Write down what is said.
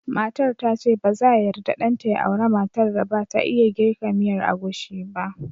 Matar ta ce ba za yarda ɗan ta ya aura matar da ba ta iya jirka miyar agushi ba